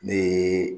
Ne ye